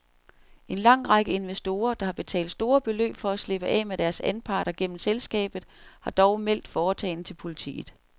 En lang række investorer, der har betalt store beløb for at slippe af med deres anparter gennem selskabet, har dog meldt foretagendet til politiet.